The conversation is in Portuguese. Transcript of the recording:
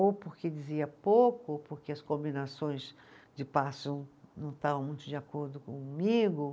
Ou porque dizia pouco, ou porque as combinações de passos não não estavam muito de acordo comigo.